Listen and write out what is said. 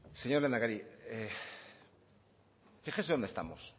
señor lehendakari fíjese dónde estamos